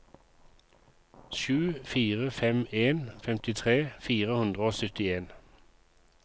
sju fire fem en femtitre fire hundre og syttien